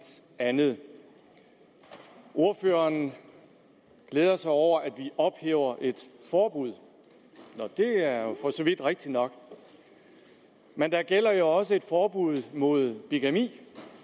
andet ordføreren glæder sig over at vi ophæver et forbud det er for så vidt rigtigt nok men der gælder jo også et forbud mod bigami